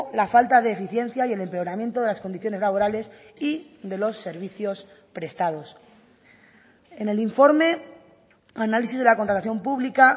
la falta de eficiencia y el empeoramiento de las condiciones laborales y de los servicios prestados en el informe análisis de la contratación pública